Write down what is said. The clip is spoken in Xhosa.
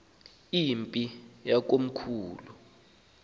le mpi yakomkhulu